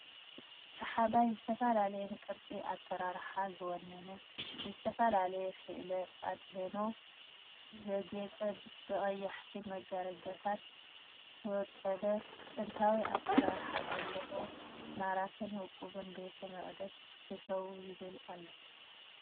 ሰሓባይ ዝተፈላለየን ቅርፂ ኣሰራርሓ ዝወነነ ብዝተፈላለየ ሰእለ ኣድህኖ ዘጌፀ ብቀየሕቲ መጋረጃታት ዝወቀበ ጥንታዊ ኣሰራርሓ ዘለዎ ማራኽን ውቁብን ቤተ መቅደስ እተው ይብል ኣሎ፡፡